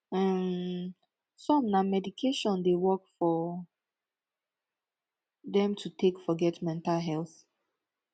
um som na meditation dey work for dem to take forget mental health